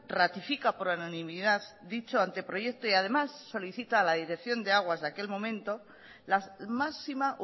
ratifica por unanimidad dicho anteproyecto y además solicita a la dirección de aguas de aquel momento la máxima